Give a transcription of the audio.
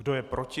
Kdo je proti?